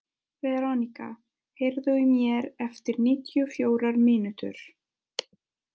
Verónika, heyrðu í mér eftir níutíu og fjórar mínútur.